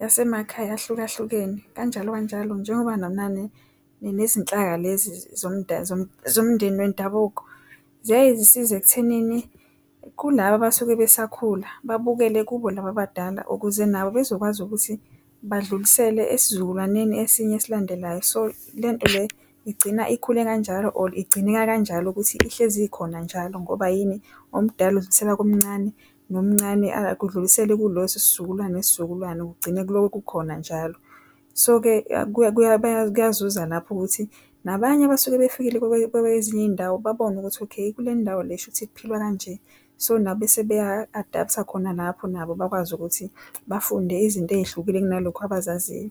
yasemakhaya ahlukahlukene kanjalo kanjalo njengoba nezinhlaka lezinhlaya lezi zomndeni wendabuko, ziyaye zisiza ekuthenini kulaba abasuke besakhula babukele kubo laba abadala ukuze nabo bezokwazi ukuthi badlulisele esizukulwaneni esinye esilandelayo, so lento le igcina ikhule kanjalo or igcineka kanjalo ukuthi ihlezi khona njalo, ngoba yini omdala udlulisela omncane nomncane akudlulisele kulo isizukulwane nesizukulwane, kugcine kuloke kukhona njalo. So-ke kuyazuza lapho ukuthi nabanye abasuke befikile bekwezinye izindawo babone ukuthi, okay kule ndawo le shukuthi kuphilwa kanje so nabo bese beya-adapt-a khona lapho nabo bakwazi ukuthi bafunde izinto ezihlukile kunalokhu abazaziyo.